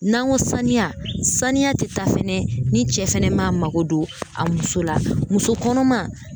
N'an go saniya saniya te taa fɛnɛ ni cɛ fɛnɛ m'a mago don a muso la muso kɔnɔma